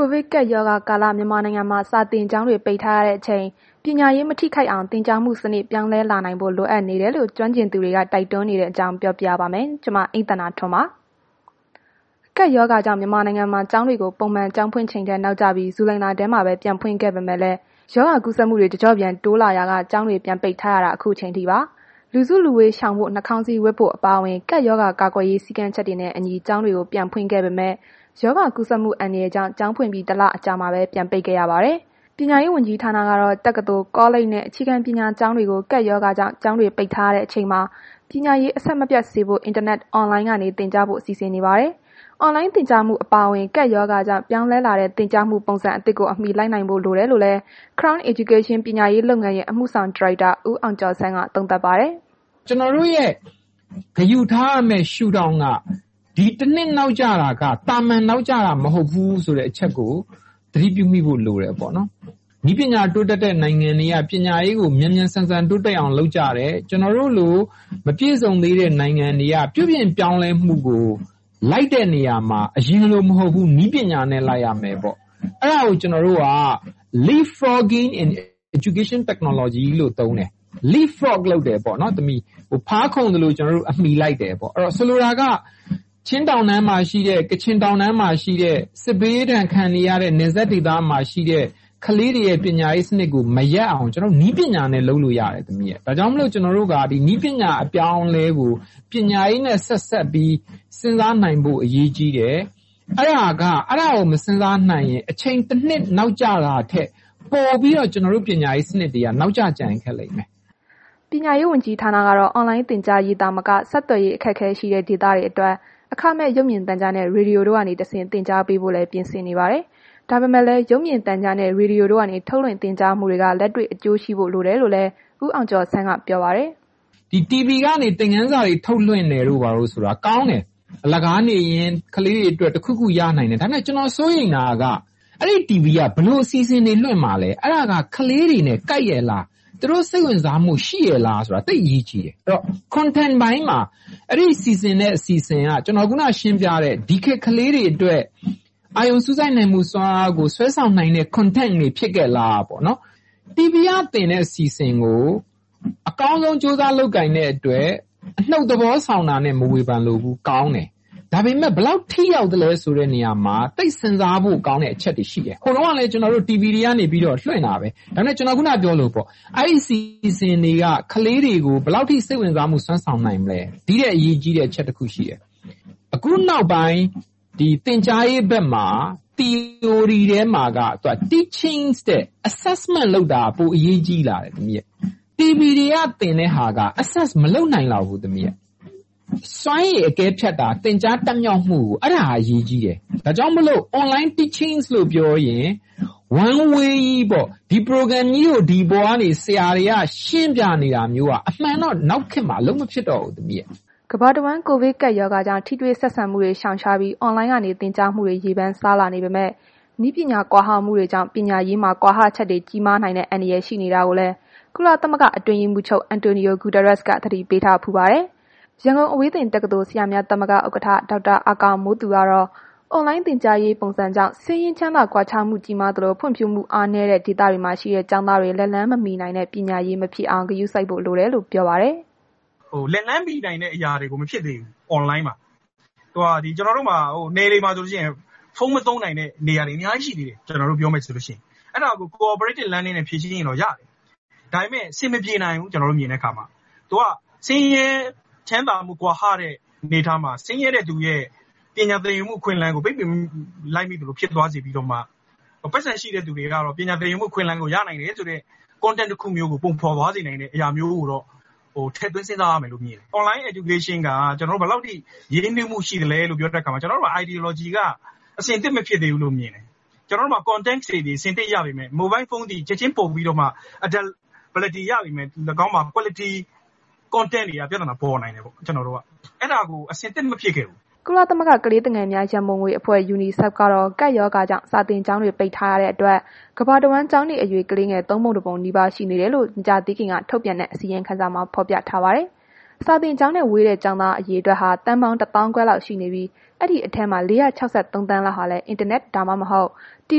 ိုဗစ်ကပ်ရောဂါကာလ မြန်မာနိုင်ငံမှာ စာသင်ကျောင်းတွေ ပိတ်ထားရတဲ့အချိန် ပညာရေး မထိခိုက်အောင် သင်ကြားမှုစနစ် ပြောင်းလဲလာနိုင်ဖို့ လိုအပ်နေတယ်လို့ ကျွမ်းကျင်သူတွေ တိုက်တွန်းနေတဲ့အကြောင်း ပြောပြပါမယ်။ ဗွီအိုအေမြန်မာပိုင်း သတင်းထောက် အိမ့်သန္တာထွန်း ပြောပြပါမယ်။ ကပ်ရောဂါကြောင့် မြန်မာနိုင်ငံမှာ ကျောင်းတွေကို ပုံမှန်ကျောင်းဖွင့်ချိန်ထက် နောက်ကျပြီး ဇူလိုင်လထဲမှာပဲ ပြန်ဖွင့်ခဲ့ပေမဲ့လည်း ရောဂါကူးစက်မှုတွေ တကျော့ပြန် တိုးလာရာက ကျောင်းတွေ ပြန်ပိတ်ထားရတာ အခုအချိန်အထိပါ။ လူစုလူဝေးရှောင်ဖို့ နှာခေါင်းစည်းဝတ်ဖို့ အပါအဝင် ကပ်ရောဂါကာကွယ်ရေး စည်းကမ်းချက်တွေနဲ့အညီ ကျောင်းတွေကို ပြန်ဖွင့်ခဲ့ပေမဲ့ ရောဂါကူးစက်မှု အန္တရာယ်ကြောင့် ကျောင်းဖွင့်ပြီး ၁ လအကြာမှာပဲ ပြန်ပိတ်ခဲ့ရပါတယ်။ ပညာရေးဝန်ကြီးဌာနကတော့ တက္ကသိုလ်၊ ကောလိပ်တွေနဲ့ အခြေခံပညာ ကျောင်းသူတွေ ကပ်ရောဂါကြောင့် ကျောင်းတွေပိတ်ထားရတဲ့ အချိန်မှာ ပညာရေး အဆက်မပြတ်စေဖို့ အင်တာနက် Online ကနေ သင်ကြားပို့ချဖို့ စီစဉ်နေပါတယ်။ အွန်လိုင်းသင်ကြားမှု အပါအဝင် ကပ်ရောဂါကြောင့် ပြောင်းလဲလာတဲ့ သင်ကြားရေးပုံစံသစ်ကို အမှီလိုက်နိုင်ဖို့ လိုတယ်လို့လည်း Crown Education ပညာရေးလုပ်ငန်းရဲ့ အမှုဆောင်ဒါရိုက်တာ ဦးအောင်ကျော်ဆန်းက သုံးသပ်ပါတယ်။ “ကျွန်တော်တို့ ဂရုထားရမယ့် ရှုထောင့်က ဒီတစ်နှစ်နောက်ကျတာက သာမာန်နောက်ကျတာမဟုတ်ဘူး ဆိုတာကို သတိပြုမိဖို့ လိုတယ်ပေါ့နော်။ နည်းပညာတိုးတက်တဲ့နိုင်ငံတွေက ပညာရေးကို မြန်မြန်ဆန်ဆန်တိုးတက်အောင်လုပ်ကြတယ်။ ကျွန်တော်တို့လို့ မပြည့်စုံသေးတဲ့နိုင်ငံတွေက ပြုပြင်ပြောင်းလဲဖို့ကို လိုက်တဲ့နေရာမှာ အရင်လိုမဟုတ်ဘူး နည်းပညာနဲ့လိုက်ရမယ်ပေါ့။ အဲ့ဒါကို ကျွန်တော်တို့က ဖားခုန်သလို အမှီလိုက်တယ်ပေါ့။ ဆိုလိုတာက ချင်းတောင်တန်းမှာရှိတဲ့၊ ကချင်တောင်တန်းမှာရှိတဲ့ နယ်စပ်က စစ်ဘေးဒဏ်ခံနေရတဲ့ ကလေးတွေရဲ့ ပညာရေးစနစ်ကို မရပ်အောင် နည်းပညာနဲ့ လုပ်လို့ရတယ်။ ဒါကြောင့်မို့လို့ ကျွန်တော်တို့က နည်းပညာအပြောင်းအလဲကို ပညာရေးနဲ့ ဆက်စပ်ပြီး စဉ်းစားနိုင်ဖို့ အရေးကြီးတယ်။ အဲ့ဒါကို မစဉ်းစားနိုင်ရင် အချိန်တစ်နှစ်နောက်ကျတာထက် ပိုပြီးတော့ ကျွန်တော်တို့ရဲ့ ပညာရေးစနစ်တွေက နောက်ကျကျန်ရစ်ခဲ့လိမ့်မယ်။” ပညာရေး ဝန်ကြီးဌာနကတော့ အွန်လိုင်းသင်ကြားရေး သာမက ဆက်သွယ်ရေး အခက်အခဲရှိတဲ့ ဒေသတွေအတွက် အခမဲ့ရုပ်မြင်သံကြားနဲ့ ရေဒီယိုကနေ သင်ကြားပေးဖို့လည်း ပြင်ဆင်နေကြပါတယ်။ ဒါပေမဲ့လည်း ရုပ်မြင်သံကြားနဲ့ ရေဒီယိုတို့ကနေ ထုတ်လွှင့်သင်ကြားမှုတွေက လက်တွေ့အကျိုးရှိဖို့ လိုတယ်လို့လည်း ဦးအောင်ကျော်ဆန်းက ပြောပါတယ်။ “TV ကနေ သင်ခန်းစာတွေထုတ်လွင့်တာက ကောင်းတယ်၊ အလကားနေရင် ကလေးတွေအတွက် တစ်ခုခုရတယ်။ ဒါပေမယ့် ကျွန်တော်စိုးရိမ်တာက အဲ့ဒီ TV က ဘယ်လို အစီအစဉ်တွေကိုလွင့်မှာလဲ။ အဲ့ဒါက ကလေးတွေနဲ့ ကိုက်ရဲ့လား။ သူတို့ စိတ်ဝင်စားမှုရှိရဲ့လားဆိုတာ သိပ်အရေးကြီးတယ်။ အဲ့တော့ Contact ပိုင်းမှာ အဲ့ဒီစီစဉ်တဲ့ အစီအစဉ်က ဒီခေတ်ကလေးတွေအတွက် အာရုံစူးစိုက်နိုင်မှု စွမ်းအားကို ဆွဲဆောင်နိုင်တဲ့ Contact တွေဖြစ်ရဲ့လားပေါ့။ TV ကသင်တဲ့အစီအစဉ်ကို အကောင်းဆုံး ကြိုးစားလုပ်ကိုင်တဲ့အတွက် အနုတ်သဘောဆောင်တာနဲ့ မဝေဖန်လိုဘူး၊ ကောင်းတယ်။ ဒါဘယ်မယ့် ဘယ်လောက်ထိရောက်သလဲဆိုတာမှာ သိပ်စဉ်းစားဖို့ကောင်းတဲ့ အချက်တွေရှိတယ်။ ဟိုတုန်းက လည်း ကျွန်တော်တို့ TV တွေကနေ လွင့်တာပဲ ဒါပေမယ့် ကျွန်တော် ခုဏကပြောသလိုပေါ့၊ အဲ့ဒီအစီအစဉ်တွေက ဘယ်လောက်ထိ စိတ်ဝင်စားမှု စွမ်းဆောင်နိုင်မလဲ။ ဒီထက်အရေးကြီးတဲ့ အချက်တစ်ခုရှိတယ်၊ ခုနောက်ပိုင်း သင်ကြားရေးဘက်မှာ သီအိုရီထဲမှာက Teaching ထက် Assessment လုပ်တာက ပိုအရေးကြီးလာတယ်။ TV တွေကသင်တဲ့ဟာတွေက Assess မလုပ်နိုင်လောက်ဘူး။ စွမ်းရည်အကဲဖြတ်တာ သင်ကြားတတ်မြောက်မှုကို အဲ့ဒါက အရေးကြီးတယ်။ ဒါကြောင့်မို့လို့ Online Teaching လို့ပြောရင် One Way ကြီးပေါ့၊ ဒါကြီးကို ဒီပေါ်ကနေ ဆရာတွေက ရှင်းပြနေတာမျိုးက အမှန်တော့ နောက်ခေတ်မှာ အလုပ်မဖြစ်တော့ဘူး။” ကမ္ဘာတဝန်း ကိုဗစ်ကပ်ရောဂါကြောင့် ထိတွေ့ဆက်ဆံမှုတွေ ရှောင်ရှားပြီး အွန်လိုင်းက သင်ကြားမှုတွေ ရေပမ်းစားလာနေပေမဲ့ နည်းပညာ ကွာဟမှုတွေကြောင့် ပညာရေးမှာ ကွာဟချက်တွေ ကြီးမားနိုင်တဲ့ အန္တရာယ် ရှိနေတာကိုလည်း ကုလသမဂ္ဂ အတွင်းရေးမှူးချုပ် အန်တိုနီယို ဂုတာရပ်စ်က သတိပေးထားဘူးပါတယ်။ ရန်ကုန်အဝေးသင်တက္ကသိုလ် ဆရာများသမဂ္ဂ ဥက္ကဌ ဒေါက်တာ အာကာမိုးသူကတော့ အွန်လိုင်း သင်ကြားမှုပုံစံကြောင့် ဆင်းရဲ ချမ်းသာ ကွာခြားမှုကြီးမားသလို ဖွံ့ဖြိုးမှု အားနည်းတဲ့ ဒေသမှာရှိတဲ့ ကျောင်းသားတွေ လက်လှမ်းမမှီနိုင်တဲ့ ပညာရေးမဖြစ်အောင် ဂရုစိုက်ဖို့လိုတယ်လို့ ပြောပါတယ်။ “လက်လှမ်းမီနိုင်တဲ့ အရာတွေမဖြစ်သေးဘူး။ ကျွန်တော်တို့မှာ နယ်တွေမှာဆိုလို့ရှိရင် ဖုန်းမသုံးနိုင်တဲ့ နေရာတွေအများကြီးရှိသေးတယ် ကျွန်တော်တို့ပြောရမယ်ဆိုလို့ရှိရင်။ အဲ့ဒါကို Co-operated Learning နဲ့ ဖြေရှင်းရင်တော့ရတယ်။ ဒါပေမယ့် အဆင်မပြေနိုင်ဘူး၊ ကျွန်တော်တို့မြင်တဲ့အခါမှာ ဒါက ဆင်းရဲ ချမ်းသာမှု ကွာဟတဲ့ အနေအထားမှာ ဆင်းရဲတဲ့သူရဲ့ ပညာသင်ယူမှု အခွင့်အလမ်းကို ပိတ်ပင်လိုက်သလို ဖြစ်သွားစေပြီးတော့မှ ပိုက်ဆံရှိတဲ့သူတွေကတော့ ပညာသင်ယူမှု အခွင့်အလမ်းကို ရနိုင်တယ်ဆိုတဲ့ Contact မျိုးကို ပုံဖော်သွားစေနိုင်တာမျိုးကိုတော့ ထင်သွင်းစဉ်းစားရမယ်လို့ မြင်တယ်။ Online Education က ဘယ်လောက်ထိ ရင်းနှီးမှုရှိသလဲဆိုတဲ့အခါမှာ ကျွန်တော်တို့ရဲ့ Ideology က အဆင်သင့်မဖြစ်သေးဘူးလို့မြင်တယ်။ ကျွန်တော်တို့မှာ Contact တွေအဆင်သင့်ရပေမယ့်၊ မိုဘိုင်းဖုန်းသည် ချက်ချင်း လုပ်ကိုင် သုံးနိုင်ပေမယ့် ၎င်းမှာ Quality Contact ပိုင်းတွေက ပြသနာပေါ်နိုင်တယ်။ ကျွန်တော်တို့က အဲ့ဒါကို အဆင်သင့်မဖြစ်ခဲ့ဘူး။” ကုလသမဂ္ဂ ကလေးငယ်များ ရန်ပုံငွေအဖွဲ့ Unicef ကတော့ ကပ်ရောဂါကြောင့် စာသင်ကျောင်းတွေ ပိတ်ထားရတဲ့အတွက် ကမ္ဘာတဝန်း ကျောင်းနေအရွယ် ကလေးငယ် ၃ ပုံ ၁ ပုံနီးပါး ရှိနေကြောင်း မကြာသေးခင်က ထုတ်ပြန်တဲ့ အစီရင်ခံစာမှာ ဖော်ပြထားပါတယ်။ စာသင်ကျောင်းနဲ့ ဝေးတဲ့ ကျောင်းသား အရေအတွက်ဟာ သန်းပေါင်း ၁ သောင်းခွဲ လောက်ရှိနေပြီး ဒီအထဲမှာ ၄၆၃ သန်းလောက်ဟာလည်း အင်တာနက်၊ ဒါမှမဟုတ် တီ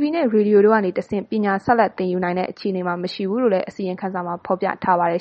ဗွီနဲ့ ရေဒီယိုတွေကနေတဆင့် ပညာဆက်လက် သင်ယူနိုင်တဲ့ အခြေအနေမှာ မရှိဘူးလို့လည်း အစီရင်ခံစာမှာ ဖော်ပြထားပါတယ်